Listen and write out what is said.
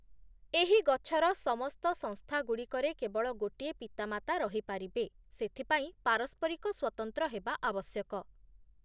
ଏହି ଗଛର ସମସ୍ତ ସଂସ୍ଥାଗୁଡ଼ିକରେ କେବଳ ଗୋଟିଏ ପିତାମାତା ରହିପାରିବେ, ସେଥିପାଇଁ ପାରସ୍ପରିକ ସ୍ୱତନ୍ତ୍ର ହେବା ଆବଶ୍ୟକ ।